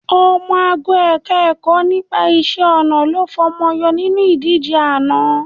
Ọmọ ago Ẹ̀ka-ẹ̀kọ́ nípa iṣẹ́-ọnà ló fọmọ yọ nínú ìdíje àná